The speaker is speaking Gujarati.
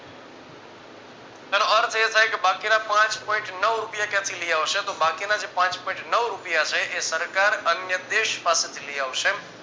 જેનો અર્થ એ થાય કે બાકીના પાંચ point નવ રૂપિયા ક્યાંથી લઇ આવશે તો બાકીના જે પાંચ point નવ રૂપિયા છે એ સરકાર અન્ય દેશ પાસેથી લઇ આવશે